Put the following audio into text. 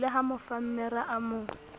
le ha mofammere a mo